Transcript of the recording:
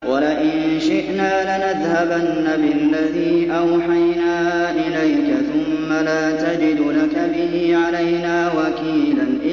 وَلَئِن شِئْنَا لَنَذْهَبَنَّ بِالَّذِي أَوْحَيْنَا إِلَيْكَ ثُمَّ لَا تَجِدُ لَكَ بِهِ عَلَيْنَا وَكِيلًا